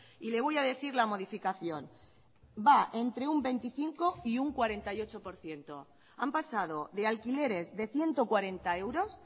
y le voy a decir la modificación va entre un veinticinco y un cuarenta y ocho por ciento han pasado de alquileres de ciento cuarenta euros